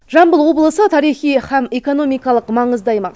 жамбыл облысы тарихи һәм экономикалық маңызды аймақ